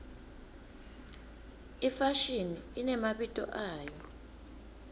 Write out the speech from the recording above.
ifashini inemabito ayo